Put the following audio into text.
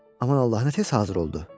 Aman Allah, nə tez hazır oldu.